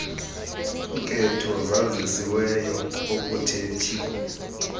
nketho zazisiweyo okuthethi